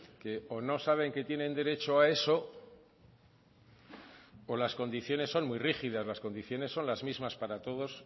que o no saben que tienen derecho a eso o las condiciones son muy rígidas las condiciones son las mismas para toda